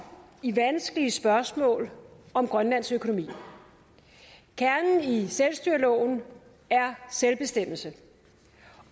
i vanskelige spørgsmål om grønlands økonomi kernen i selvstyreloven er selvbestemmelse